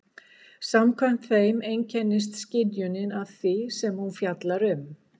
Samkvæmt þeim einkennist skynjunin af því sem hún fjallar um.